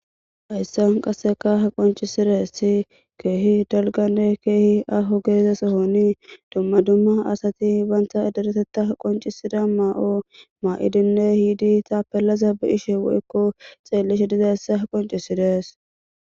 Hayssan qasseka ha qoncisires si keehi dalgane keehi aho geezasohoni dumma dumma asati banta aderetetta qoncisida maa'o maa'idinne hiidi taapelaza bi ishe woykko xeellishe diza essa ha qoncisirees.